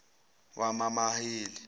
wamamaheli